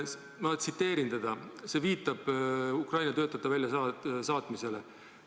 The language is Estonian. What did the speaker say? Ma tsiteerin teda, ta viitab Ukraina töötajate väljasaatmisele.